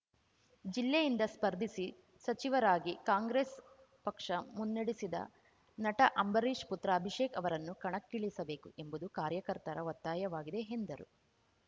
ಜಿಲ್ಲೆಯಿಂದ ಸ್ಪರ್ಧಿಸಿ ಸಚಿವರಾಗಿ ಕಾಂಗ್ರೆಸ್‌ ಪಕ್ಷ ಮುನ್ನಡೆಸಿದ ನಟ ಅಂಬರೀಷ್‌ ಪುತ್ರ ಅಭಿಷೇಕ್‌ ಅವರನ್ನು ಕಣಕ್ಕಿಳಿಸಬೇಕು ಎಂಬುದು ಕಾರ್ಯಕರ್ತರ ಒತ್ತಾಯವಾಗಿದೆ ಎಂದರು